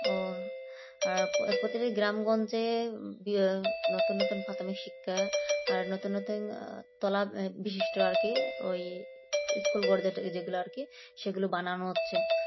ও আর প্রতিটি গ্রাম-গঞ্জে নতুন নতুন প্রাথমিক শিক্ষা আর নতুন নতুন তলার বিশিষ্ট আর কি ওই school করতে যেগুলো আর কি সেগুলো বানানো হচ্ছে